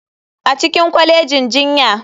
A cikin kwalejin jinya.